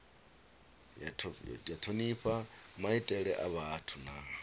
thonifha maitele a vhathu na